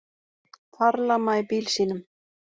Farlama í bíl sínum